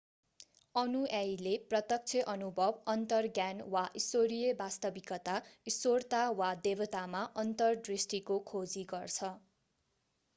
अनुयायीले प्रत्यक्ष अनुभव अन्तर्ज्ञान वा ईश्वरीय वास्तविकता/ईश्वरता वा देवतामा अन्तर्दृष्टिको खोजी गर्छ।